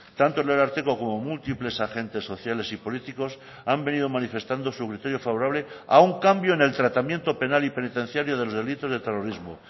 tanto el ararteko como múltiples agentes sociales y políticos han venido manifestando su criterio favorable a un cambio en el tratamiento penal y penitenciario de los delitos de terrorismo